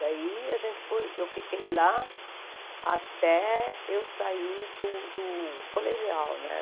Daí a gente foi, eu fiquei lá até eu sair do do colegial, né?